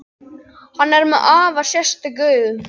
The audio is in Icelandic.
Hann er með afar sérstök augu.